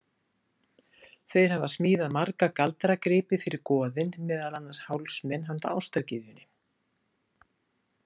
Þeir hafa smíðað marga galdragripi fyrir goðin, meðal annars hálsmen handa ástargyðjunni.